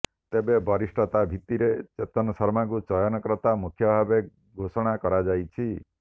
ତେବେ ବରିଷ୍ଠତା ଭିତ୍ତିରେ ଚେତନ ଶର୍ମାଙ୍କୁ ଚୟନକର୍ତ୍ତା ମୁଖ୍ୟ ଭାବେ ଘୋଷଣା କରାଯାଇଛି